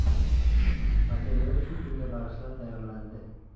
Material shu kunga bag‘ishlab tayyorlandi.